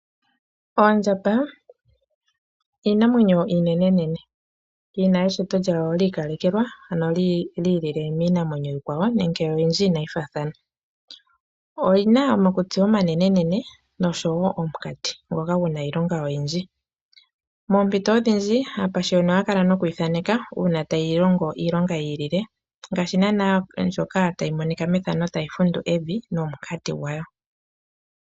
Oondjamba iinamwenyo iinenene, yina eshito lyawo liikalekelwa ano lyi lile miinamwenyo iikwawo nenge oyindji inayi faathana, oyina omakutsi omanene osho wo omunkati ngoka guna iilonga oyindji. Moompito oodhindji aapashiwani ohaya kala nokuyi thaneka uuna tayi longgo iilonga yii lile, ngashinga ndjoka tayi monika methano tayi fundu evi nomunkati gwawo.